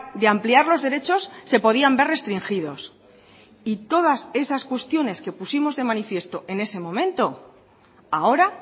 de ampliar los derechos se podían ver restringidos y todas esas cuestiones que pusimos de manifiesto en ese momento ahora